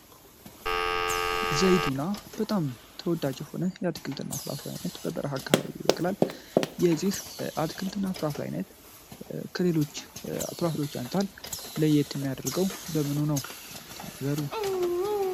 ዘይቱና በጣም ተወዳጅ የሆነ የአትክልትና ፍሬፍሬ አይነት በበረሃ አካባቢ ይበቅላል የዚህ አትክልትና ፍራፍሬ አይነት ከሌሎች ፍራፍሬዎች አንፃር ለየት የሚያደርገው በምኑ ነው ተናገሩ?